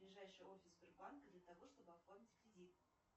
ближайший офис сбербанка для того чтобы оформить кредит